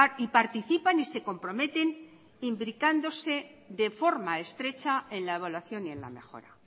y participan y se comprometen imbricándose de forma estrecha en la evaluación y en la mejora